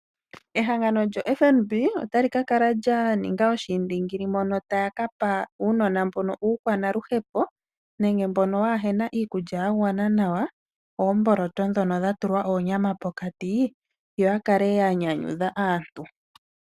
Ehangano lyoFNB ota li kakala lyaninga oshiindingili mono taya kapa uunona uukwanaluhepo nenge mbono waahena iikulya yagwana nawa, oomboloto ndhono dhatulwa oonyama pokati, yo yakale yanyanyudha aantu.